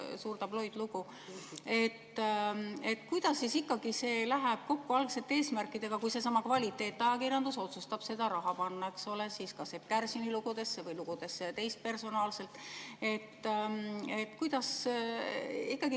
Kuidas see läheb kokku algsete eesmärkidega, kui seesama kvaliteetajakirjandus otsustab selle raha panna kas Epp Kärsini lugudesse või teist personaalselt tehtud lugudesse?